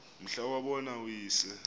mhla wabona uyise